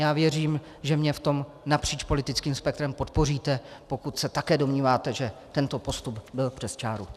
Já věřím, že mě v tom napříč politickým spektrem podpoříte, pokud se také domníváte, že tento postup byl přes čáru.